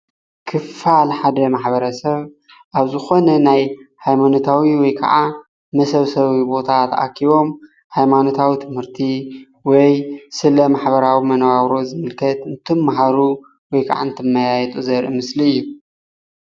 ክፋል ሓደ ማሕበረሰብ አብ ዝኾነ ናይ ሃይማኖታዊ ወይ ከዓ መሰብሰቢ ቦታ ተአኪቦም ሃይማኖታዊ ትምህርቲ ወይ ስለ ማሕበራዊ መነባብሮ ዝምለከት እንትምሃሩ ወይ ከዓ እንትመያየጡ ዘርኢ ምስሊ እዩ።